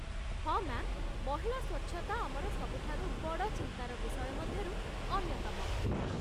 ହଁ, ମ୍ୟା'ମ୍, ମହିଳା ସ୍ୱଚ୍ଛତା ଆମର ସବୁଠାରୁ ବଡ଼ ଚିନ୍ତାର ବିଷୟ ମଧ୍ୟରୁ ଅନ୍ୟତମ।